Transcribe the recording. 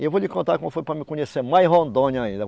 E eu vou lhe contar como foi para mim conhecer mais Rondônia